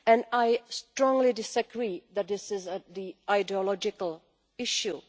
I strongly disagree that this is an ideological issue.